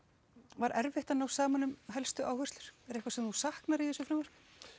var erfitt að ná saman um helstu áherlsur var eitthvað sem þú saknar í þessu frumvarpi